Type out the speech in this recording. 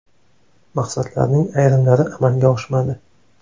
Maqsadlarning ayrimlari amalga oshmadi.